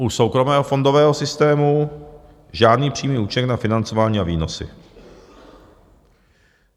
U soukromého fondového systému žádný přímý účinek na financování a výnosy.